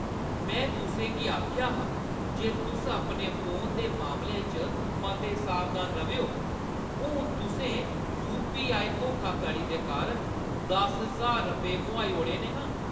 मैं तुसें गी आखेआ हा जे तुस अपने फोन दे मामले च मते सावधान र'वेओ। हून तुसें यू.पी.आई. धोखाधड़ी दे कारण दस ज्हार रपेऽ मोहाई ओड़े न ना। ।